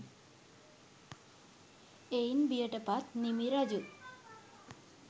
එයින් බියට පත් නිමි රජු